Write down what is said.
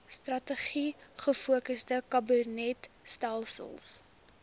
strategies gefokusde kabinetstelsel